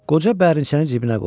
Qoca bərniçəni cibinə qoydu.